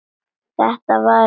Þetta var um vetur.